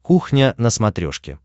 кухня на смотрешке